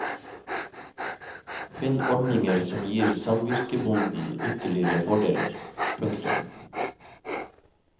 Finn ordninger som gir samvirkebonden ytterligere fordeler. punktum